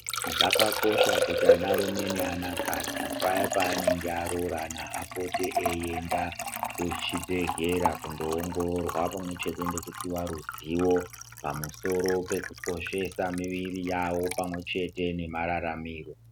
Zvakakosha kuti anarume neanakadzi paya paanenge aroorana apote eienda kuchibhedhlera kundoongororwa pamwechete nekupiwa ruzivo pamusoro pekukoshesa miviri yavo pamwechete nemararamiro .